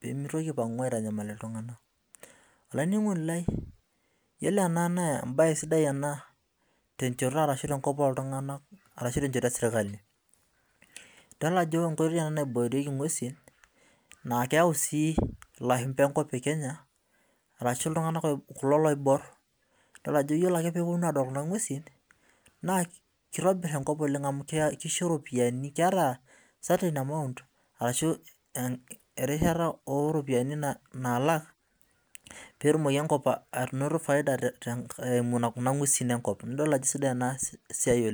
pemitoki aipangu aitanyamal ltunganak ashu tenchoto eserkali idol ajo enkaitoi naibokieki ngwesi amu keponu lashumba adol kuna ngwesi na kitobir enkop oleng amu keeta erishata oropiyiani ainoto faida emu enkop neaku idol ajo kesidai enasia oleng